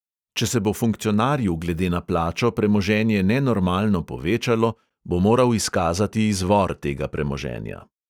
Če se bo funkcionarju glede na plačo premoženje nenormalno povečalo, bo moral izkazati izvor tega premoženja.